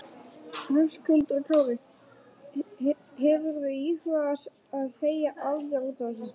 Höskuldur Kári: Hefurðu íhugað að segja af þér útaf þessu?